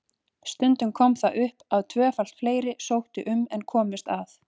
Stundum kom það upp að tvöfalt fleiri sóttu um en komust að.